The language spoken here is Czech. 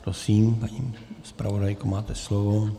Prosím, paní zpravodajko, máte slovo.